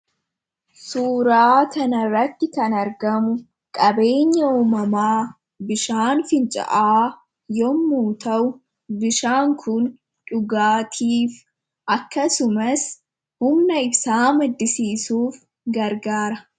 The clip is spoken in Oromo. suuraa kanarratti kan argamu qabeenya umamaa bishaan finca'aa yommuu ta'u bishaan kun dhugaatiif akkasumas humna ibsaa maddisiisuuf gargaara.